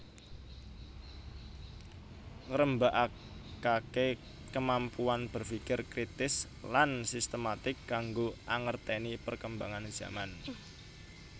Ngrembakakake kemampuan berfikir kritis lan sistematik kanggo angerteni perkembangan zaman